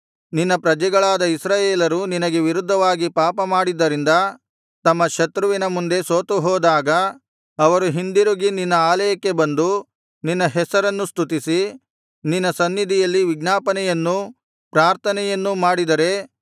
ನಿನ್ನ ಪ್ರಜೆಗಳಾದ ಇಸ್ರಾಯೇಲರು ನಿನಗೆ ವಿರುದ್ಧವಾಗಿ ಪಾಪ ಮಾಡಿದ್ದರಿಂದ ತಮ್ಮ ಶತ್ರುವಿನ ಮುಂದೆ ಸೋತು ಹೋದಾಗ ಅವರು ಹಿಂದಿರುಗಿ ನಿನ್ನ ಆಲಯಕ್ಕೆ ಬಂದು ನಿನ್ನ ಹೆಸರನ್ನು ಸ್ತುತಿಸಿ ನಿನ್ನ ಸನ್ನಿಧಿಯಲ್ಲಿ ವಿಜ್ಞಾಪನೆಯನ್ನೂ ಪ್ರಾರ್ಥನೆಯನ್ನು ಮಾಡಿದರೆ